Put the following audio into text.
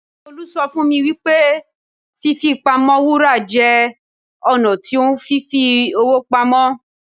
Tolú sọ fún mi wípé fí fi pamọ́ Wúrà jẹ́ ọ̀nà tí ohun fi ń fi owó pamọ́.